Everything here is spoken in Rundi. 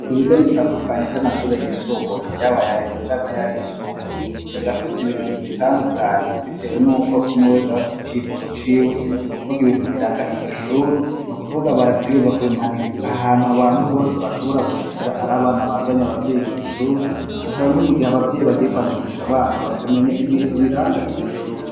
Kubigo bitandukanye vy'amashure yisumbuye yaba ya leta canke ayisumbuye birafise ibintu bibitandukanya bitewe n'uko umwe wese aba afise icivugo ciwe nukuvuga ibintu biranga iryo shuri nukuvuga barategerezwa kubimanika ahantu abantu bose bashobora gushikira ari abana bazanye abavyeyi kw'ishuri canke mugihe abavyeyi bagiye kwandikisha abana bakamenya ibintu biranga iryo shuri.